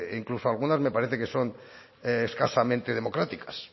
incluso algunas me parece que son escasamente democráticas